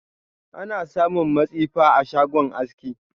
Ana samun matsifa a kowane shagon aski.